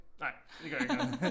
Nej det gør ikke noget